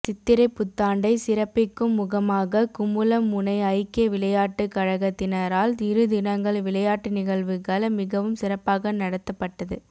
சித்திரை புத்தாண்டை சிறப்பிக்கும் முகமாக குமுளமுனை ஐக்கிய விளையாட்டு கழகத்தினரால் இரு தினங்கள் விளையாட்டு நிகழ்வுகள் மிகவும் சிறப்பாக நடாத்தப்பட்டது